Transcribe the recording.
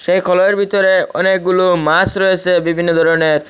এই কলয়ের বিতরে অনেকগুলো মাস রয়েসে বিভিন্ন দরনের ।